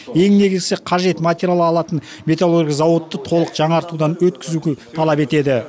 ең негізгісі қажет материал алатын металлургия зауытты толық жаңартудан өткізуді талап етеді